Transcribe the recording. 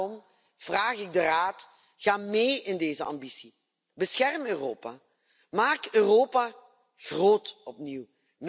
Daarom vraag ik de Raad ga mee in deze ambitie, bescherm Europa, maak Europa groot, opnieuw.